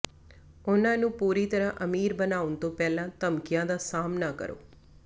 ਉਹਨਾਂ ਨੂੰ ਪੂਰੀ ਤਰ੍ਹਾਂ ਅਮੀਰ ਬਣਾਉਣ ਤੋਂ ਪਹਿਲਾਂ ਧਮਕੀਆਂ ਦਾ ਸਾਹਮਣਾ ਕਰੋ